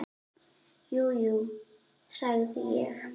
Jú, jú, sagði ég.